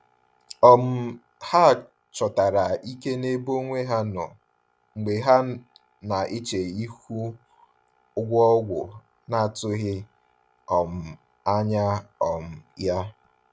um Ha chọtara ike n’ebe onwe ha nọ mgbe ha na-eche ihu ụgwọ ọgwụ na-atụghị um anya um ya.